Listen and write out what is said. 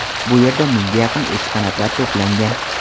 Bu yerda mingga yaqin eksponatlar to‘plangan.